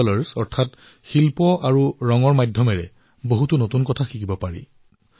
কলা আৰু ৰঙৰ জৰিয়তে বহু নতুন কথা শিকিব পাৰি